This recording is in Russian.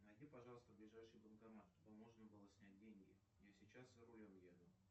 найди пожалуйста ближайший банкомат чтобы можно было снять деньги я сейчас за рулем еду